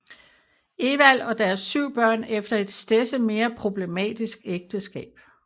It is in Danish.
Ewald og deres 7 børn efter et stedse mere problematisk ægteskab